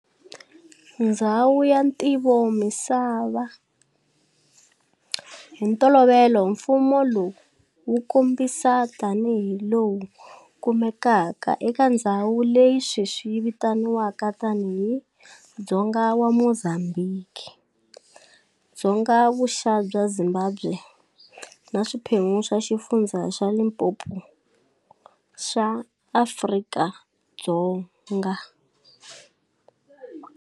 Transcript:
Ndzhawu ya Ntivomisava-Hi ntolovelo mfumo lowu wu kombisiwa tani hi lowu kumekaka eka ndzhawu leyi sweswi yitivekaka tani hi dzonga wa Mozambique, dzonga vuxa bya Zimbabwe, na swiphemu swa Xifundzha xa Limpopo xa Afrika-Dzonga.